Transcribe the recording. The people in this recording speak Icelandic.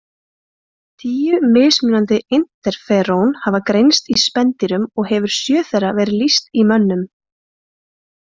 Tíu mismunandi interferón hafa greinst í spendýrum og hefur sjö þeirra verið lýst í mönnum.